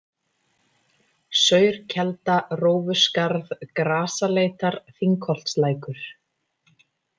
Saurkelda, Rófuskarð, Grasaleitar, Þingholtslækur